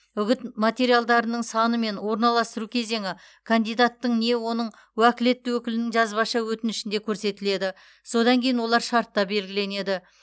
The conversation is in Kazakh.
үгіт материалдарының саны мен орналастыру кезеңі кандидаттың не оның уәкілетті өкілінің жазбаша өтінішінде көрсетіледі содан кейін олар шартта белгіленеді